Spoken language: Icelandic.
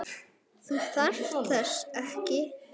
Þú þarft þess ekki.